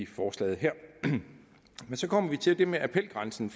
forslaget her men så kommer vi til det med appelgrænsen